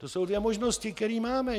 To jsou dvě možnosti, které máme.